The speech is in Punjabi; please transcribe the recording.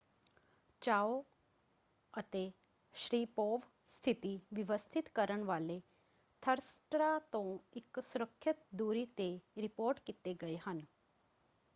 ਚਾਓ ਅਤੇ ਸ਼ਰੀਪੋਵ ਸਥਿਤੀ ਵਿਵਸਥਿਤ ਕਰਨ ਵਾਲੇ ਥ੍ਰਸਟਰਾਂ ਤੋਂ ਇੱਕ ਸੁਰੱਖਿਅਤ ਦੂਰੀ ‘ਤੇ ਰਿਪੋਰਟ ਕੀਤੇ ਗਏ ਹਨ।